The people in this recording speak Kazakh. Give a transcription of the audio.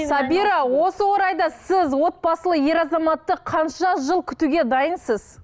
сабира осы орайда сіз отбасылы ер азаматты қанша жыл күтуге дайынсыз